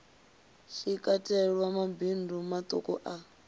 shi katelwa mabindu maṱuku a